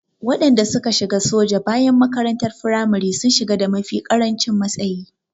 Waɗanda suka shiga soja bayan makarantar firamare sun shiga da mafi ƙarancin matsayi.